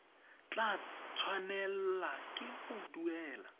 tla tshwanela ke go duela